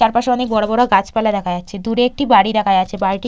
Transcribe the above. চার পাশে অনেক বড় বড় গাছপালা দেখা যাচ্ছে দূরে একটি বাড়ি দেখা যাচ্ছে বাড়িটি--